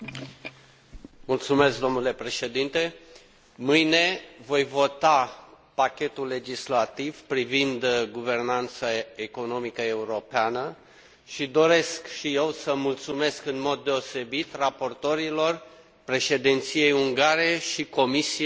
Mâine voi vota pachetul legislativ privind guvernanța economică europeană și doresc și eu să mulțumesc în mod deosebit raportorilor, Președinției ungare și Comisiei pentru eforturile într adevăr deosebite